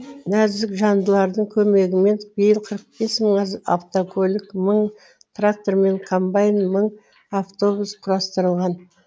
нәзік жандылардың көмегімен биыл қырық бес мың автокөлік мың трактор мен комбайн мың автобус құрастырылған